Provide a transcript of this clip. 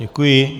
Děkuji.